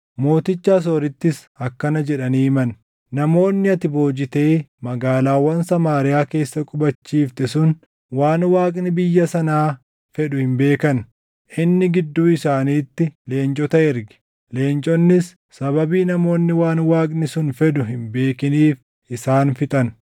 Mooticha Asoorittis akkana jedhanii himan; “Namoonni ati boojitee magaalaawwan Samaariyaa keessa qubachiifte sun waan Waaqni biyya sanaa fedhu hin beekan. Inni gidduu isaaniitti leencota erge; leenconnis sababii namoonni waan Waaqni sun fedhu hin beekiniif isaan fixan.”